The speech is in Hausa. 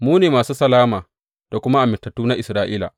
Mu ne masu salama da kuma amintattu na Isra’ila.